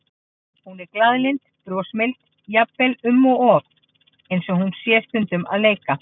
Hún er glaðlynd og brosmild, jafnvel um of, eins og hún sé stundum að leika.